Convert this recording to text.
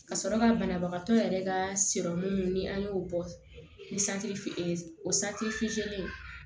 Ka sɔrɔ ka banabagatɔ yɛrɛ ka ni an y'o bɔ ni o fitininw